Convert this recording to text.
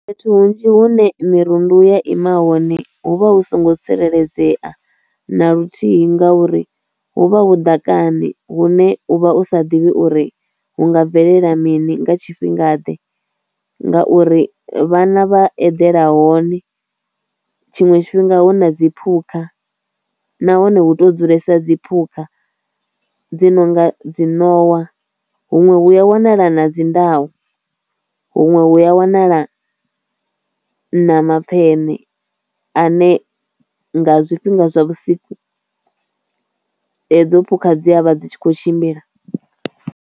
Fhethu hunzhi hune mirundu ya ima hone hu vha hu songo tsireledzea na luthihi ngauri huvha hu ḓakani hune uvha u sa ḓivhi uri hu nga bvelela mini nga tshifhinga ḓe, ngauri vhana vha eḓela hone tshiṅwe tshifhinga hu na dzi phukha, nahone hu to dzulesa dzi phukha dzi no nga dzi nowa huṅwe hu a wanala na dzi ndau huṅwe hu a wanala na mapfhene ane nga zwifhinga zwa vhusiku hedzo phukha dziavha dzi tshi kho tshimbila.